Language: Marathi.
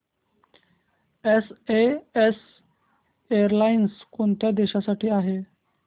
एसएएस एअरलाइन्स कोणत्या देशांसाठी आहे